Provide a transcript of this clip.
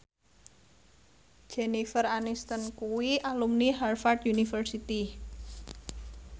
Jennifer Aniston kuwi alumni Harvard university